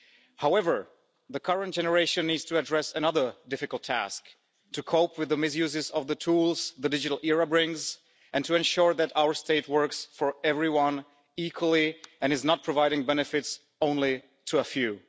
However, the current generation needs to address another difficult task to cope with the misuses of the tools the digital era brings and to ensure that our state works for everyone equally and is not providing benefits only to a few.